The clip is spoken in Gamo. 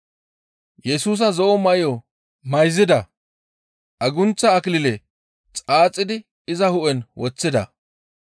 Yesusa zo7o may7o mayzida; agunththa akilile xaaxidi iza hu7en woththida. Yesusa hu7e bolla wodhdhida agunththa akilile